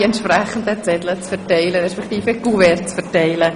Zu den Richterinnen- und Richterwahlen kommen wir ja später.